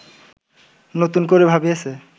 নতুন করে ভাবিয়েছে